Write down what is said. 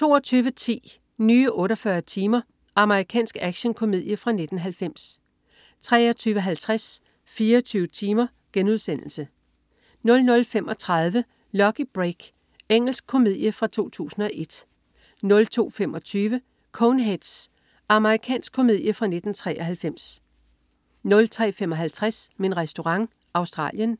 22.10 Nye 48 timer. Amerikansk actionkomedie fra 1990 23.50 24 timer* 00.35 Lucky Break. Engelsk komedie fra 2001 02.25 Coneheads. Amerikansk komedie fra 1993 03.55 Min Restaurant. Australien.